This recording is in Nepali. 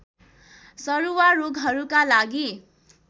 सरुवा रोगहरूका लागि